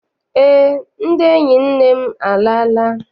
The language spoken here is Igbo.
Eé, ndị enyi nne m alala.